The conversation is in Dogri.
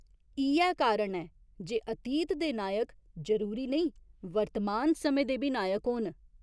इ'यै कारण ऐ जे अतीत दे नायक जरूरी नेईं वर्तमान समें दे बी नायक होन।